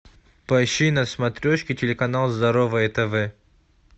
поищи на смотрешке телеканал здоровое тв